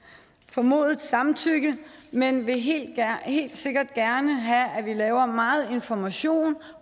formodet samtykke men vil helt helt sikkert gerne have at vi laver meget information